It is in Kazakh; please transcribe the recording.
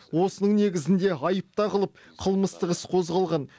осының негізінде айып тағылып қылмыстық іс қозғалған